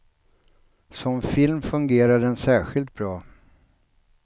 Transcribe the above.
Som film fungerar den särskilt bra.